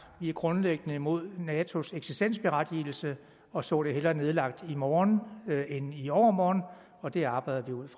grundlæggende imod natos eksistensberettigelse og så det hellere nedlagt i morgen end i overmorgen og det arbejder vi ud